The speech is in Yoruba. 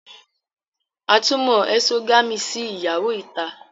A tún mo ẹ̀sogami sí ìyàwó ìta